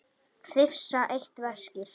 Hrifsa eitt veskið.